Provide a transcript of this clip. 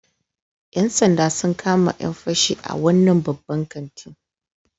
‘Yan sanda sun kama ‘yan fashi a wannan babban kantin